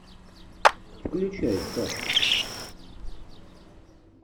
включай сказку